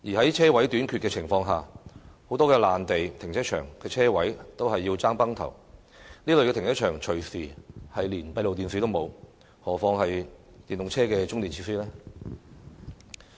在車位短缺的情況下，很多臨時停車場的車位也供不應求，這類停車場隨時連閉路電視也沒有，何況是電動車的充電設施呢？